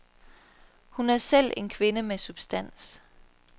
Hun er selv en kvinde med substans.